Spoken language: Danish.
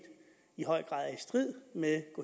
i høj grad er strid med